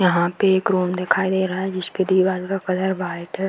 यहाँ पे एक रूम दिखाई दे रहा है जिसके दीवाल का कलर वाइट है।